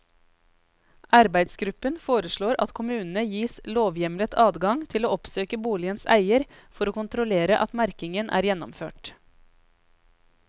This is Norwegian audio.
Arbeidsgruppen foreslår at kommunene gis lovhjemlet adgang til å oppsøke boligens eier for å kontrollere at merkingen er gjennomført.